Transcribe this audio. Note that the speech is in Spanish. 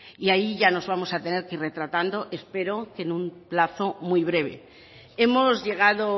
y ahí ya nos vamos a tener que ir retratando espero que en un plazo muy breve hemos llegado